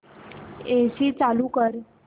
AC चालू कर